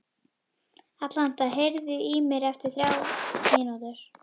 Alanta, heyrðu í mér eftir þrjár mínútur.